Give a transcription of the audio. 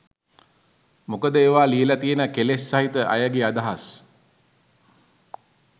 මොකද ඒවා ලියල තියෙන කෙලෙස් සහිත අයගේ අදහස්